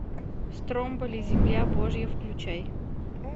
стромболи земля божья включай